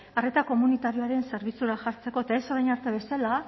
arreta komunitarioaren zerbitzura jartzeko eta ez orain arte bezala